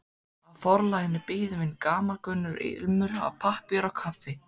Á forlaginu bíður mín gamalkunnur ilmur af pappír og kaffi.